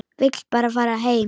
Vill bara fara heim.